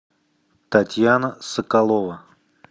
татьяна соколова